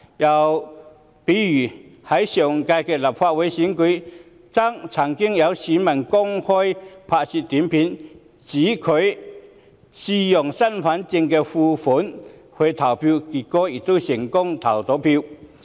又例如在上屆立法會選舉，曾有選民上載短片，聲稱自己嘗試以身份證副本證明身份，結果成功投票。